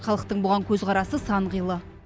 халықтың бұған көзқарасы сан қилы